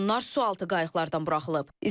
Onlar sualtı qayıqlardan buraxılıb.